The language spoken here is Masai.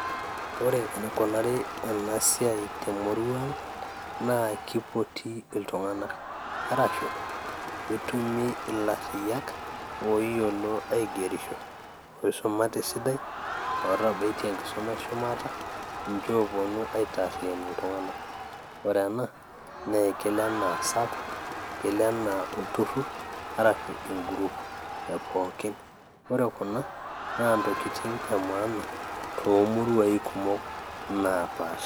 Ore enikunari ena siai temurua ang naa kipoti iltung'anak arshu etumi ilarriyiak oyiolo aigerisho oisumate esidai ootabaitie enkisuma eshumata ninche ooponu aitaarriyian iltung'anak ore ena naa ekelo enaa sacco ekelo enaa olturrur arashu en group e pookin ore kuna naa intokitin e maana toomuruai kumok naapasha.